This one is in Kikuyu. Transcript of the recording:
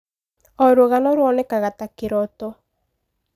O rũgano ruonekaga ta kĩrooto.